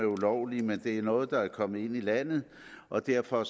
ulovlige men det er noget der er kommet ind i landet og derfor